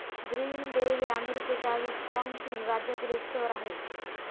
Green Bay हे अमेरिकेच्या Wisconsin राज्यातील एक शहर आहे.